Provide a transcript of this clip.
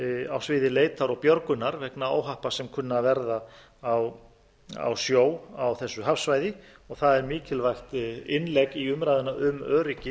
á sviði leitar og björgunar vegna óhappa sem kunna að verða á sjó á þessu hafsvæði það er mikilvægt innlegg í umræðuna um öryggi